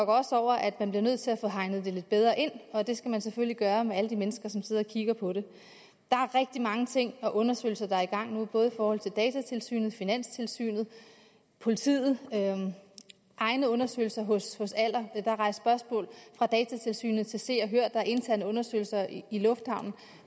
også over at man bliver nødt til at få hegnet det lidt bedre ind og det skal man selvfølgelig gøre med alle de mennesker som sidder og kigger på det er rigtig mange ting og undersøgelser der er i gang nu både i forhold til datatilsynet finanstilsynet politiet og egne undersøgelser hos aller der er rejst spørgsmål fra datatilsynet til se og hør der er interne undersøgelser i lufthavnen